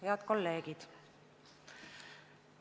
Head kolleegid!